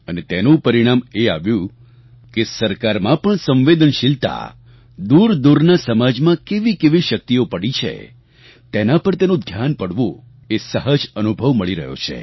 અને તેનું પરિણામ એ આવ્યું કે સરકારમાં પણ સંવેદનશીલતા દૂરદૂરના સમાજમાં કેવીકેવી શક્તિઓ પડી છે તેના પર તેનું ધ્યાન પડવું એ સહજ અનુભવ મળી રહ્યો છે